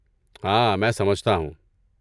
ہاں، میں سمجھتا ہوں۔